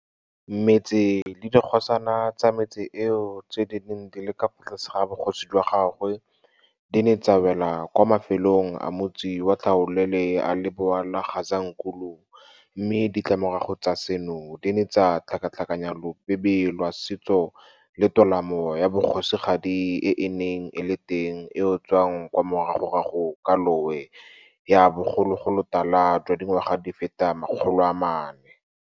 Metse le dikgosana tsa metse eo tse di neng di le ka fa tlase ga bogosi jwa gagwe di ne tsa wela kwa mafelong a motsi wa tlhaolele a Lebowa le Gazankulu mme ditlamorago tsa seno di ne tsa tlhakatlhakanya lobebe lwa setso le tolamo ya bogosigadi e e neng e le teng eo tswang kwa moragorago kwa lowe ya bogologolotala jwa dingwaga di feta 400.